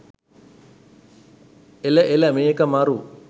එල එල මේක මරු